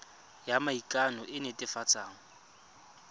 ya maikano e e netefatsang